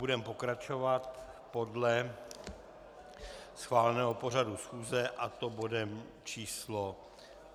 Budeme pokračovat podle schváleného pořadu schůze, a to bodem číslo